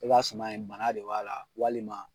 I ka suman yen bana de b'a la walima